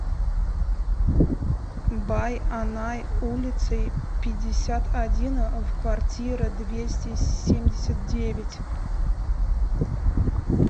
байанай улицей пятьдесят один в квартира двести семьдесят девять